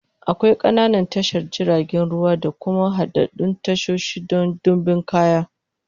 Akwai ƙananan tashar jiragen ruwa da kuma haɗaɗɗun tashoshi don ɗimbin kaya.